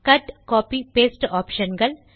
cut copy paste option கள்